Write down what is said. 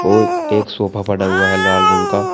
और एक सोफा पड़ा हुआ है लाल रंग का।